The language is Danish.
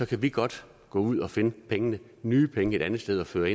kan vi godt gå ud og finde pengene nye penge et andet sted og føre